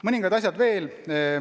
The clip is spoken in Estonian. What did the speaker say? Mõningad asjad veel.